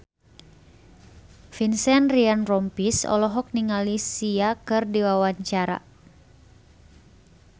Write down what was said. Vincent Ryan Rompies olohok ningali Sia keur diwawancara